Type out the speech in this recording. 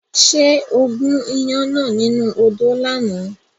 Ṣé o gún iyán náà nínú odó lánàá?